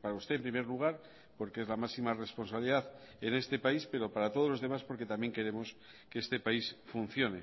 para usted en primer lugar porque es la máxima responsabilidad en este país pero para todos los demás porque también queremos que este país funcione